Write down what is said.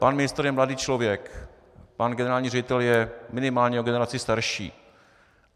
Pan ministr je mladý člověk, pan generální ředitel je minimálně o generaci starší.